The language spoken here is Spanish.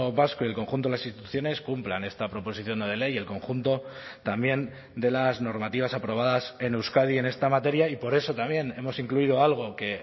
vasco y el conjunto de las instituciones cumplan esta proposición no de ley y el conjunto también de las normativas aprobadas en euskadi en esta materia y por eso también hemos incluido algo que